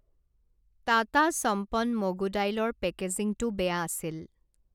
টাটা সম্পন মগু দাইলৰ পেকেজিঙটো বেয়া আছিল।